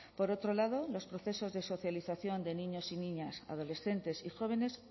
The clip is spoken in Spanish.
por otro lado los procesos de socialización de niños y niñas adolescentes y jóvenes